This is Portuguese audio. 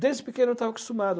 Desde pequeno eu estava acostumado.